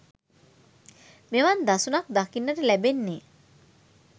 මෙවන් දසුනක් දකින්නට ලැබෙන්නේ